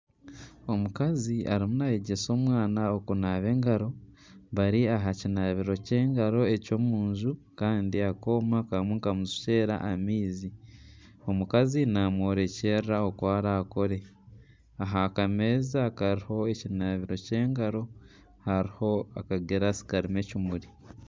Omukazi arimu nayegyesa omwaana okunaaba engaro bari aha kinabiro ky'engaro eky'omunju Kandi akooma karimu nikamushukyera amaizi. Omukazi namworekyerera oku arakore. Aha kameeza akariho ekinabiro ky'engaro hariho aka girasi karimu ekimuri.